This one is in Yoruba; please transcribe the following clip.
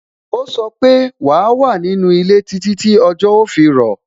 Ó sọ pé "wa wà ní inú ilé títí tí ọjọ́ ó fi rọ̀